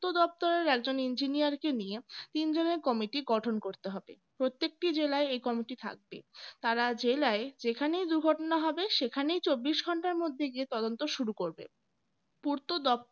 দপ্তরের একজন engineer কে নিয়ে তিন জনের committee গঠন করতে হবে প্রত্যেকটি জেলায় এই committee থাকবে তারা জেলায় যেখানেই দুর্ঘটনা হবে সেখানেই চব্বিশ ঘন্টার মধ্যে গিয়ে তদন্ত শুরু করবে পূর্ত দপ্তর